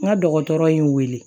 N ka dɔgɔtɔrɔ ye n wele